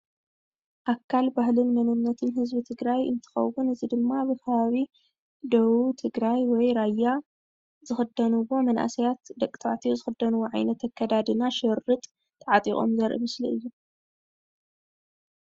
ኣካል ባህልን መንነትን ህዝቢ ትግራይ እንትከውን እዚ ድማ ኣብ ከባቢ ደቡብ ህዝቢ ትግራይ ወይ ራያ ዝክደንዎ መናእሰያት ደቂ ተባዕትዮ ዝክደንዎ ዓየነት ኣከዳድና ሽርጥ ተዓጢቆም ዘርኢ ምስሊ እዩ፡፡